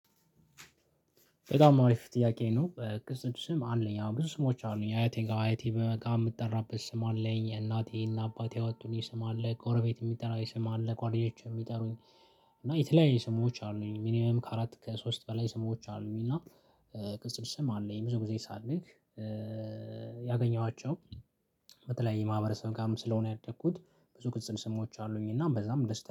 በጣም አሪፍ ጥያቄ ነው ቅጽል ስም አለኝ አወ ብዙ ስሞች አሉኝ። አያቴ ጋር አያቴ ብትመጣ የምጠራበት ስም አለኝ። እናቴና አባቴ ወጥቶኝ ስም አለ። ጎረቤት የሚጠራኝ ስም አለ። ጓደኞቼ የሚጠሩኝ እና የተለያየ ስሞች አሉኝ። ሚኒመም ከአራት ከሶስት በላይ ስሞች አሉኝ። እና ቅጽል ስም አለኝ። ብዙ ጊዜ ሳድግ ያገኘኋቸው በተለይ የማህበረሰብ ጋርም ስለሆነ ያደግኩት ብዙ ቅጽል ስሞች አሉኝ እና በዛም ደስተኛ